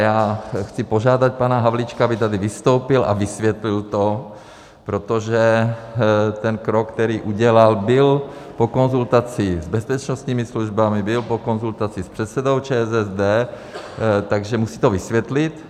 Já chci požádat pana Havlíčka, aby tady vystoupil a vysvětlil to, protože ten krok, který udělal, byl po konzultaci s bezpečnostními službami, byl po konzultaci s předsedou ČSSD, takže to musí vysvětlit.